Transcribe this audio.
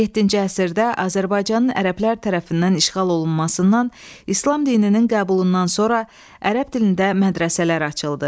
Yeddinci əsrdə Azərbaycanın ərəblər tərəfindən işğal olunmasından, İslam dininin qəbulundan sonra ərəb dilində mədrəsələr açıldı.